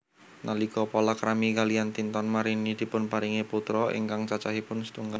Nalika palakrami kaliyan Tinton Marini dipunparingi putra ingkang cacahipun setunggal